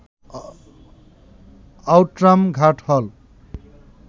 Outram Ghat হল